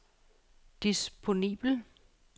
disponibel